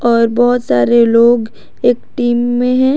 और बहुत सारे लोग एक टीम में हैं।